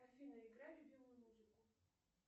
афина играй любимую музыку